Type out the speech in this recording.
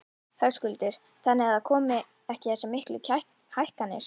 Höskuldur: Þannig að það komi ekki þessar miklu hækkanir?